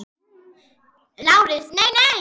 LÁRUS: Nei, nei!